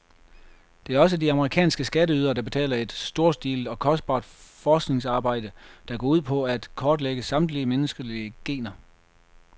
Det er også de amerikanske skatteydere, der betaler et storstilet og kostbart forskningsarbejde, der går ud på at kortlægge samtlige menneskelige gener.